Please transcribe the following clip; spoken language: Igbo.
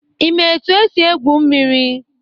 Ị maa etu esi egwu mmiri?